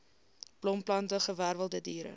blomplante gewerwelde diere